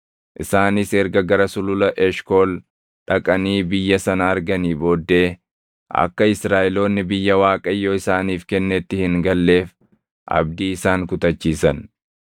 Isaanis erga gara Sulula Eshkool dhaqanii biyya sana arganii booddee akka Israaʼeloonni biyya Waaqayyo isaaniif kennetti hin galleef abdii isaan kutachiisan.